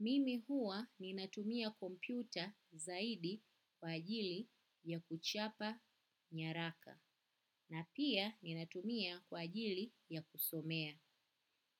Mimi hua ninatumia kompyuta zaidi kwa ajili ya kuchapa nyaraka. Na pia ninatumia kwa ajili ya kusomea.